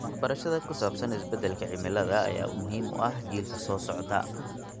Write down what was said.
Waxbarashada ku saabsan isbeddelka cimilada ayaa muhiim u ah jiilka soo socda.